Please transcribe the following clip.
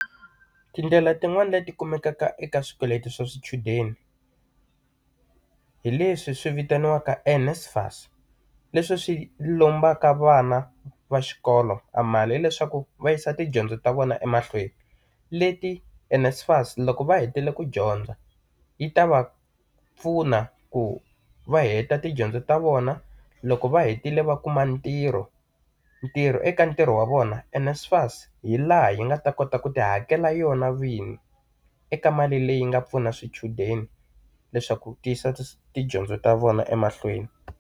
Tindlela tin'wani leti kumekaka eka swikweleti swa swichudeni, hi leswi swi vitaniwaka NSFAS, leswi swi lombaka vana va xikolo amali leswaku va yisa tidyondzo ta vona emahlweni. Leti NSFAS loko va hetile ku dyondza, yi ta va pfuna ku va heta tidyondzo ta vona loko va hetile va kuma ntirho, ntirho eka ntirho wa vona NSFAS hi laha yi nga ta kota ku ti hakela yona vinyi eka mali leyi nga pfuna swichudeni, leswaku ti yisa tidyondzo ta vona emahlweni.